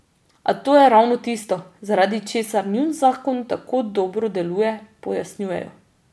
A to je ravno tisto, zaradi česar njun zakon tako dobro deluje, pojasnjujejo.